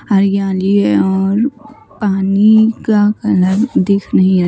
हरियाली है और पानी का कलर दिख नहीं रहा।